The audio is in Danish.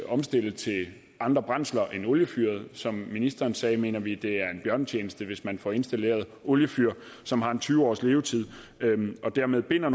omstille til andre brændsler end oliefyret som ministeren sagde mener vi at det er en bjørnetjeneste at hvis man får installeret et oliefyr som har tyve års levetid og dermed binder